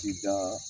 Ci da